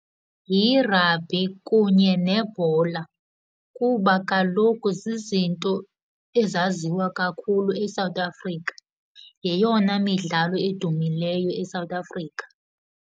Yi-rugby kunye nebhola, kuba kaloku zizinto ezaziwa kakhulu eSouth Africa, yeyona midlalo edumileyo eSouth Africa.